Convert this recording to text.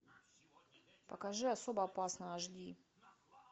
покажи особо опасные аш ди